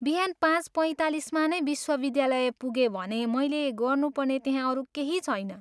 बिहान पाँच पैँतालिसमा नै विश्वविद्यालय पुगेँ भने मैले गर्नुपर्ने त्यहाँ अरू केही छैन।